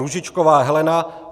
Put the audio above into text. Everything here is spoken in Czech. Růžičková Helena